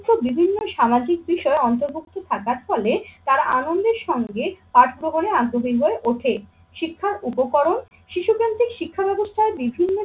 বিভিন্ন সামাজিক বিষয়ে অন্তর্ভুক্ত থাকার ফলে তারা আনন্দের সঙ্গে পাঠভবনে আগ্রহী হয়ে ওঠে। শিক্ষার উপকরণ, শিশু প্রান্তিক শিক্ষাব্যবস্থায় বিভিন্ন